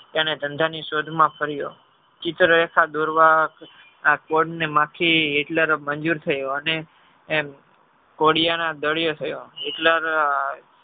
એને ધંધા ની શોધ માં ફરિયો ચિત્ર રેખા દોરવા આ આ કોડ ને માખી Hitler મંજુર થયો અને એમ કોળિયા ના દર ને થયો hitlear